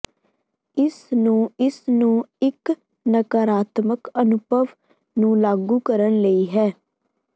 ਇਸ ਨੂੰ ਇਸ ਨੂੰ ਇੱਕ ਨਕਾਰਾਤਮਕ ਅਨੁਭਵ ਨੂੰ ਲਾਗੂ ਕਰਨ ਲਈ ਹੈ